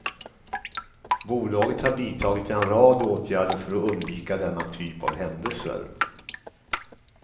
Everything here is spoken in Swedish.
Bolaget har vidtagit en rad åtgärder för att undvika denna typ av händelser.